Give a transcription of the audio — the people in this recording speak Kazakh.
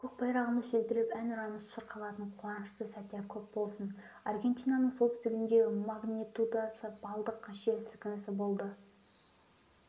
көк байрағымыз желбіреп әнұранымыз шырқалатын қуанышты сәттер көп болсын аргентинаның солтүстігінде магнитудасы балдық жер сілкінісі болды